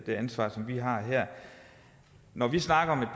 det ansvar som vi har her når vi snakker